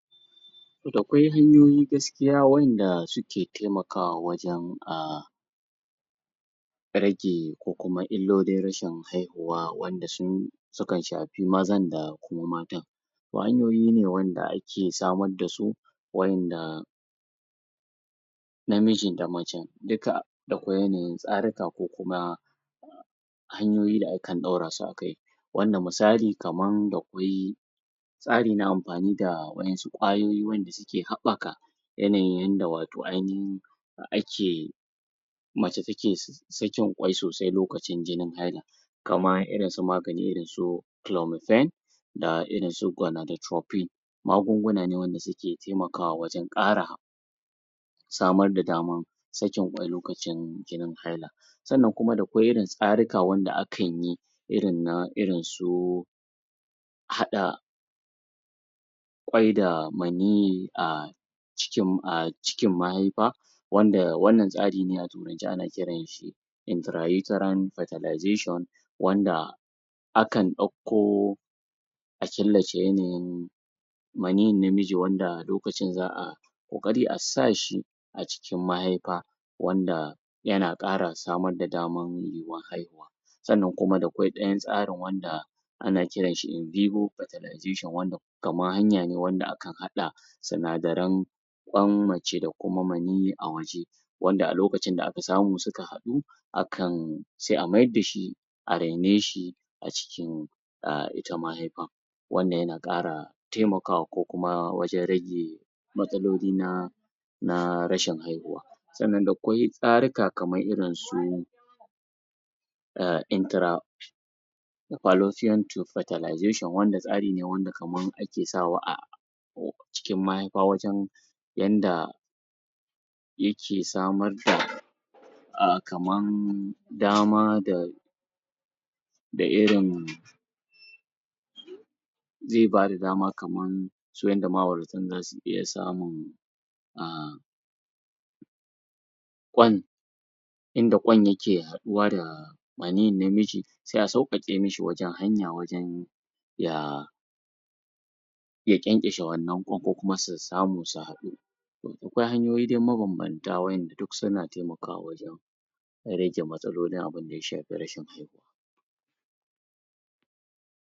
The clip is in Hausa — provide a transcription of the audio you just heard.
Da kwai hanyoyin gaskiya wanda suke taimakawa wajen a rage kuma illolin rashin haihuwa wanda sun sukan shafi mazan da kuma matan magani ne wanda ake samar da su wanda namijin da macen dika da kwai yanayin tsarinka ko kuma hanyoyi da akan ɗorasu akai wanda misali kaman da kwai tsari na amfani da wa'yansu kwayoyi da suke haɓaka yanayin yadda wato ainahin ake mace take sakin kwai sosai lokacin jinin haila kamar irinsu maganin irinsu chelomephen da irinsu Kwanaditiropic magunguna ne wanda suke taimakawa wajen samar da damar sakin kwai lokacin jinin haila sannan kuma da kwai irin tsarika wanda akan yi irin na irinsu haɗa kwai da maniyi a a ciki a cikin mahaifa wanda wannan tsari ne a turance ana shi Intranatural Fartilazation wanda akan ɗauko a killace yanayin maniyin namiji wanda lokacin za a ƙoƙari a shi a cikin mahaifa wanda yana ƙara samar da damar yiwuwar haihuwa sannan kuma da kwai ɗayan tsarin wanda ana kiranshi? Fartilazation wanda kamar haya ne wanda akan haɗa sinadaran kwan mace da kuma maniyi a wajen wanda a lokacin da aka samu suka haɗu akan sai a mayar da shi a raine shi a cikin a ita maihaifan wannan yana ƙara taimakawa ko kuma wajen rage matsaloli na na rashin haihuwa sannan da kwai tsarika kamar irin su intar? Fartilazation wanda stari ne wanda kaman ake sawa a cikin mahaifa wajen yanda yake samar da a kaman dama da da irin zai bada dama kamar su yanda ma'auratan za su iya samun a kwan inda kwan yake haɗuwa da maniyin namiji sai a sauƙaƙe mishi wajen hanya wujen ya ya kyankyashe wannan kwan ko kuma su samu su haɗu akwai hanyoyi mabambanta wa'yanda duk suna taimakwa wajen rage mastalolin abinda ya shafi rashin haihuwa